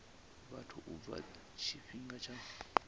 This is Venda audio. vhathu u bva tshifhingani tsha